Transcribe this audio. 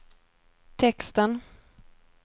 texten